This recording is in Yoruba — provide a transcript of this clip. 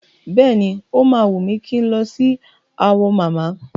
Bẹ́ẹ̀ni, o máa wùn mí kí n lọ sí Awo mama.